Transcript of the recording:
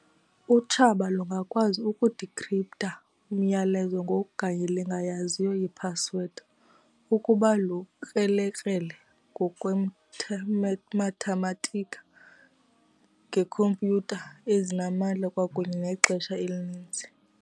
Utshaba lungakwazi uku-decrypt-ha umyalezo ngoku kanye lingayaziyo i-password, ukuba lukrele-krele ngokwemathematika, ngeekhompyutha ezinamandla kwakunye nexesha elininzi.